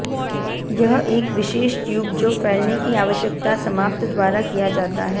यह एक विशेष ट्यूब जो फैलने की आवश्यकता समाप्त द्वारा किया जाता है